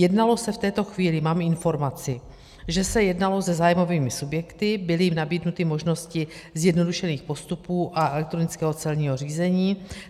Jednalo se v této chvíli - mám informaci, že se jednalo se zájmovými subjekty, byly jim nabídnuty možnosti zjednodušených postupů a elektronického celního řízení.